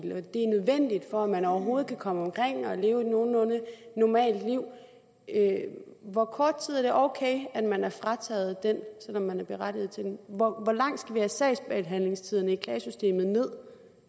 og at man overhovedet kan komme omkring og leve et nogenlunde normalt liv hvor kort tid er det så ok at man er frataget den selv om man er berettiget til den hvor langt skal vi have sagsbehandlingstiderne i klagesystemet ned